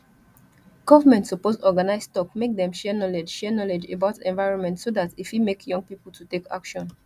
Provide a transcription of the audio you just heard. government suppose organise talk make dem share knowledge share knowledge about environment so dat e fit make young pipo to take action